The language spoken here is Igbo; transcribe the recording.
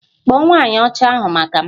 Kpọọ nwanyị Ọcha ahụ maka m!